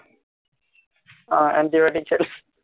ও anti-biotic খেলে